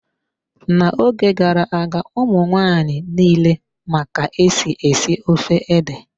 N'oge gara-aga, ụmụ nwaanyị nile ma ka-esi esi ofe ede.